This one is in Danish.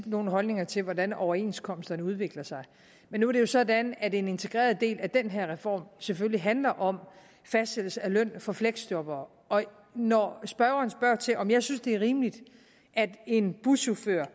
nogen holdninger til hvordan overenskomster udvikler sig men nu er det jo sådan at en integreret del af den her reform selvfølgelig handler om fastsættelse af løn for fleksjobbere og når spørgeren spørger til om jeg synes det er rimeligt at en buschauffør